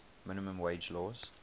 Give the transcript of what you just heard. minimum wage laws